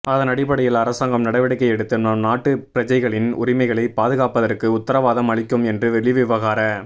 அதனடிப்படையில் அரசாங்கம் நடவடிக்கை எடுத்து நம்நாட்டு பிரஜைகளின் உரிமைகளை பாதுகாப்பதற்கு உத்தரவாதம் அளிக்கும் என்று வெளிவிவகார